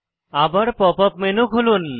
আবার pop up menu খুলুন